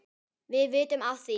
Helga, um hvað er lagið?